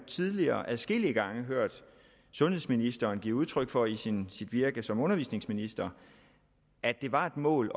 tidligere adskillige gange har hørt sundhedsministeren give udtryk for i sit virke som undervisningsminister at det var et mål